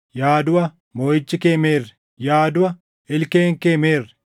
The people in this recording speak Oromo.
“Yaa duʼa, moʼichi kee meerre? Yaa duʼa, ilkeen kee meerre?” + 15:55 \+xt Hos 13:14\+xt*